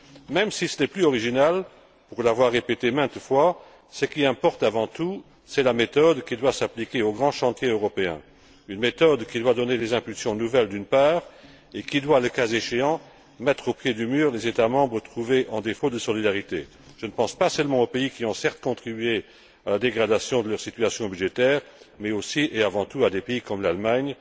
Même si ce n'est plus original, pour l'avoir répété maintes fois, ce qui importe avant tout c'est la méthode qui doit s'appliquer au grand chantier européen, une méthode qui doit donner des impulsions nouvelles, d'une part, et qui doit, le cas échéant, mettre au pied du mur les États membres trouvés en défaut de solidarité. Je ne pense pas seulement aux pays qui ont certes contribué à la dégradation de leur situation budgétaire, mais aussi et avant tout à des pays comme l'Allemagne.